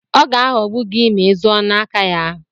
Ọ ga-aghogbu gị ma izụọ n'aka ya.